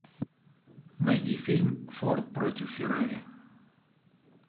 найди фильм форд против феррари